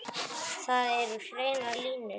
Það eru hreinar línur.